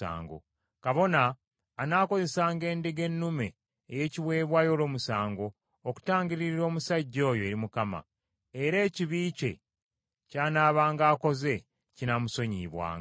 Kabona anaakozesanga endiga ennume ey’ekiweebwayo olw’omusango okutangiririra omusajja oyo eri Mukama ; era ekibi kye ky’anaabanga akoze kinaamusonyiyibwanga.